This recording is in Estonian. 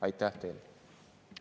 Aitäh teile!